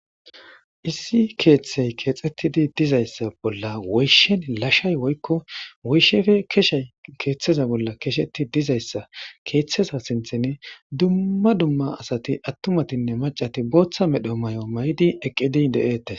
issi keeththey keexxettidi dizayssa bolla woyshen lashay woykko woyshefe keshey keeththeza bolla kesheti dizayssa keeththeza sinthen dumma dumma asati attumatinne macati booththa medho may7o may7di eqqidi de7ette